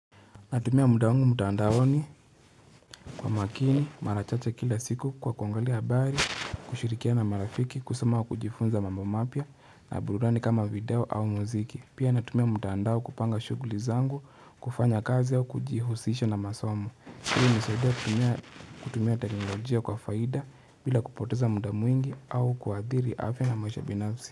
Natumia muda wangu mtaandaoni kwa makini, mara chache kila siku kwa kuangalia habari, kushirikiana na marafiki, kusoma wa kujifunza mambo mapya na burudani kama video au muziki. Pia natumia mtandao kupanga shughuli zangu, kufanya kazi au kujihusisha na masomo. Hii hunisaidia kutumia teknolojia kwa faida bila kupoteza muda mwingi au kuathiri afya na maisha binafsi.